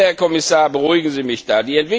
Bitte, Herr Kommissar, beruhigen Sie mich da.